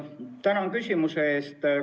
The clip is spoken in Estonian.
Tänan küsimuse eest!